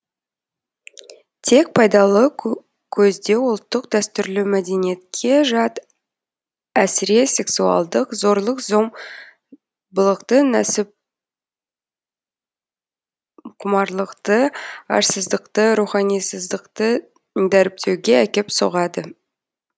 тек пайдалы көздеу ұлттық дәстүрлі мәдениетке жат әсіре сексуалдық зорлық зом былықты нәпсіқұмарлықты арсыздықты руханисыздықты дәріптеуге әкеп соғады